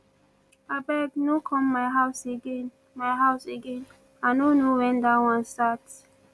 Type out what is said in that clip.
abeg no come my house again my house again i no know wen dat one start